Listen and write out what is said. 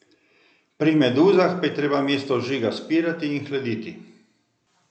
Pri meduzah pa je treba mesto ožiga spirati in hladiti.